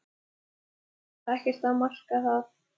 En það var ekkert að marka það.